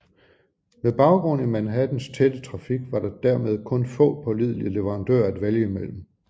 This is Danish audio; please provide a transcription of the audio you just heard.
Med baggrund i Manhattans tætte trafik var der dermed kun nogle få pålidelige leverandører at vælge mellem